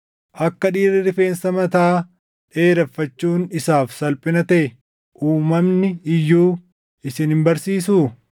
Akka dhiirri rifeensa mataa dheereffachuun isaaf salphina taʼe uumamni iyyuu isin hin barsiisuu?